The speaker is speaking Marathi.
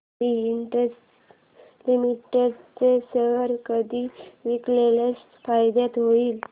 आदी इंडस्ट्रीज लिमिटेड चे शेअर कधी विकल्यास फायदा होईल